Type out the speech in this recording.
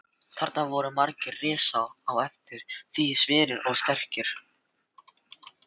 Þarna voru margir risar og eftir því sverir og sterkir.